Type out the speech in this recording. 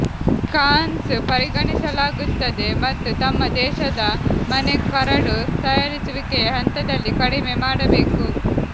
ಕಾನ್ಸ್ ಪರಿಗಣಿಸಲಾಗುತ್ತದೆ ಮತ್ತು ತಮ್ಮ ದೇಶದ ಮನೆ ಕರಡು ತಯಾರಿಸುವಿಕೆಯ ಹಂತದಲ್ಲಿ ಕಡಿಮೆ ಮಾಡಬೇಕು